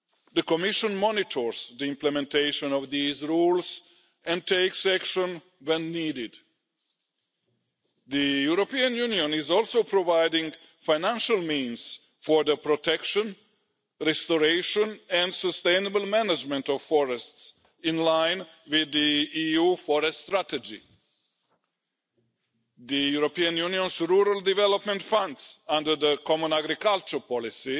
The Commission monitors the implementation of these rules and takes action when needed. The European Union is also providing financial means for the protection, restoration and sustainable management of forests in line with the EU forest strategy. The European Union's rural development funds under the common agricultural policy